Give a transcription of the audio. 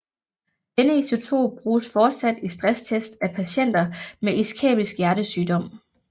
Denne isotop bruges fortsat i stresstests af patienter med iskæmisk hjertesygdom